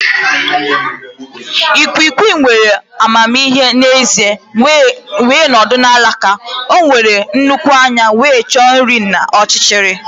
Ikwiikwii nwere amamihe n'ezie wee nọdụ na alaka. O nwere nnukwu anya wee chọọ nri n'ọchịchịrị.